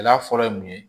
Gɛlɛya fɔlɔ ye mun ye